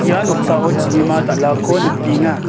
ia noksao chibima dal·ako nikenga